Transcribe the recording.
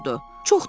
Çox danışırdı.